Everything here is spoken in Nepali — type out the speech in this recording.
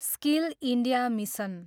skill India mission